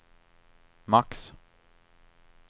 max